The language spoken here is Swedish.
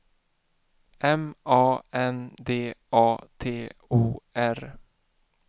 M A N D A T O R